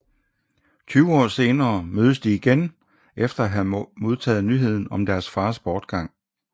Tyve år senere mødes de igen efter at have modtaget nyheden om deres fars bortgang